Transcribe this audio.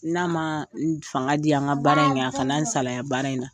N'a ma fanga dian nka baara in kɛ, a kana' an salaya baara in na.